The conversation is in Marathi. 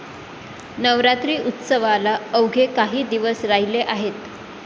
नवरात्री उत्सवाला अवघे काही दिवस राहिले आहेत.